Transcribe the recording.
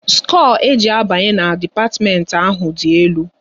Skoo e ji abanye na dipatiment ahụ dị elu